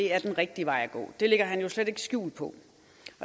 er den rigtige vej at gå det lægger han jo slet ikke skjul på